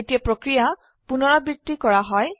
এই প্ৰক্ৰিয়া পুনৰাবৃত্তি কৰা হয়